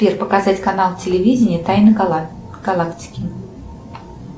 сбер показать канал телевидения тайны галактики